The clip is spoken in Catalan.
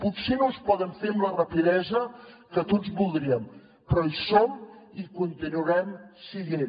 potser no es poden fer amb la rapidesa que tots voldríem però hi som i hi continuarem sent